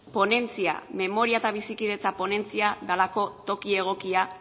ponentzia memoria eta bizikidetza ponentzia delako toki egokia